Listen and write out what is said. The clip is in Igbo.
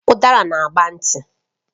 Udara na agba nti